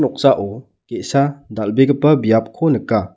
noksao ge·sa dal·begipa biapko nika.